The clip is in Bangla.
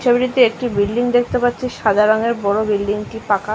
ছবিতে একটি বিল্ডিং দেখতে পাচ্ছি সাদা রংয়ের বড় বিল্ডিং -টি পাকা ।